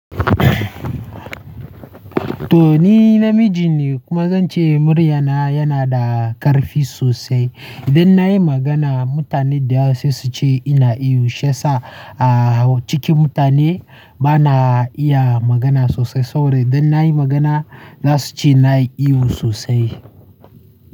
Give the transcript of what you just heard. Toh ni namiji ne kuma zan ce muryana yana da ƙarfi sosai. Idan na yi magana mutane dayawa se suce ina ihu. Shiyasa a cikin mutane ba na iya magana sosai saboda idan na yi magana za su ce na yi ihu sosai.